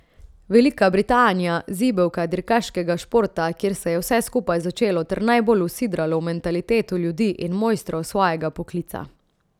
Velika Britanija, zibelka dirkaškega športa, kjer se je vse skupaj začelo ter najbolj usidralo v mentaliteto ljudi in mojstrov svojega poklica.